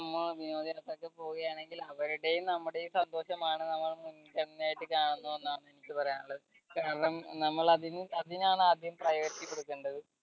വിനോദയാത്രയ്ക്ക് പോവുകയാണെങ്കിൽ അവരുടെയും നമ്മുടെയും സന്തോഷമാണ് നമ്മൾ മുൻഗണനയിട്ട് കാണുന്നത് എന്നാണ് എനിക്ക് പറയാനുള്ളത് കാരണം നമ്മൾ അതിനാണ് ആദ്യം priority കൊടുക്കേണ്ടത്